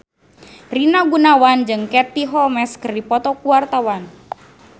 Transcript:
Rina Gunawan jeung Katie Holmes keur dipoto ku wartawan